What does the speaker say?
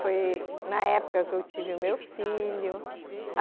Foi na época que eu tive o meu filho.